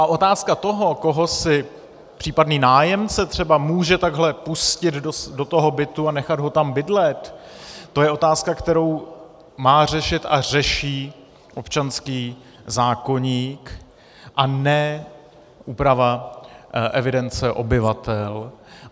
A otázka toho, koho si případný nájemce třeba může takhle pustit do toho bytu a nechat ho tam bydlet, to je otázka, kterou má řešit a řeší občanský zákoník a ne úprava evidence obyvatel.